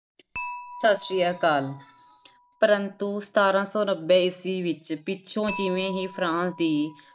ਸਤਿ ਸ੍ਰੀ ਅਕਾਲ ਪ੍ਰੰਤੂ ਸਤਾਰਾਂ ਸੌ ਨੱਬੇ ਈਸਵੀ ਵਿੱਚ ਪਿੱਛੋਂ ਜਿਵੇਂ ਹੀ ਫਰਾਂਸ ਦੀ